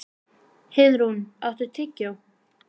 Heiðrún, áttu tyggjó?